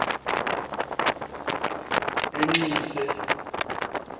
enxise